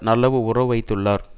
நல்ல உறவு வைத்துள்ளார்